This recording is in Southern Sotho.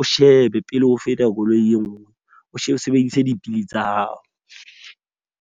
o shebe pele ho feta koloi e nngwe. O sebedise dipidi tsa hao.